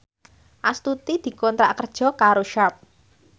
Astuti dikontrak kerja karo Sharp